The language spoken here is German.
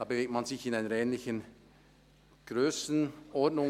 Dort bewegt man sich in einer ähnlichen Grössenordnung.